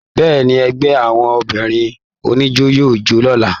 Bẹ́ẹ̀ni, ẹgbẹ àwọn obìnrin oníjó yóò jo l'ọla.